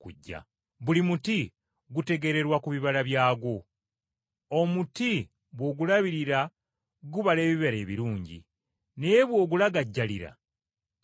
“Buli muti gutegeererwa ku bibala byagwo. Omuti bw’ogulabirira gubala ebibala ebirungi, naye bw’ogulagajjalira tegubala bibala.